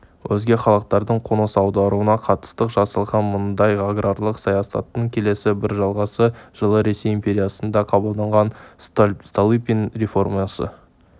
өзге халықтардың қоныс аударуына қатысты жасалған мұндай аграрлық саясаттың келесі бір жалғасы жылы ресей империясында қабылданған столыпин реформасы